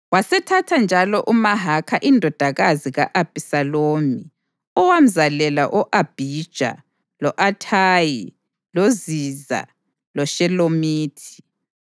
Wasethatha njalo uMahakha indodakazi ka-Abhisalomu owamzalela o-Abhija lo-Athayi loZiza loShelomithi.